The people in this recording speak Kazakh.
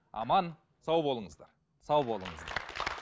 аман сау болыңыздар сау болыңыз